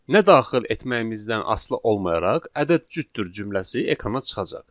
Nə daxil etməyimizdən asılı olmayaraq, ədəd cütdür cümləsi ekrana çıxacaq.